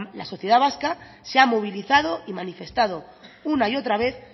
la sociedad vasca se ha movilizado y manifestado una y otra vez